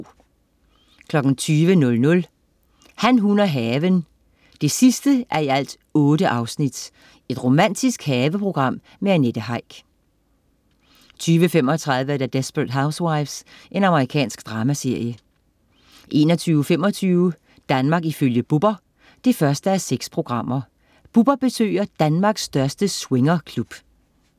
20.00 Han, hun og haven 8:8. Romantisk haveprogram med Annette Heick 20.35 Desperate Housewives. Amerikansk dramaserie 21.25 Danmark ifølge Bubber 1:6. Bubber besøger Danmarks største swingerklub